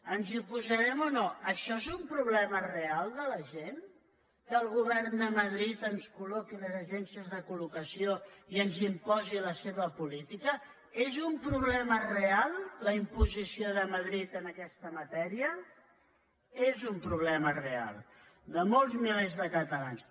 ens hi oposarem o no això és un problema real de la gent que el govern de madrid ens col·loqui les agències de colreal la imposició de madrid en aquesta matèria és un problema real de molts milers de catalans